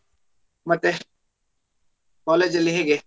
ಮತ್ತೆ college ಲ್ಲಿ ಹೇಗೆ?